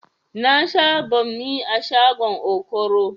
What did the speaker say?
Na sha banmi a shagon okoro